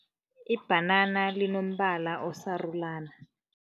Ibhanana linombala osarulana.